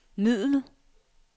middel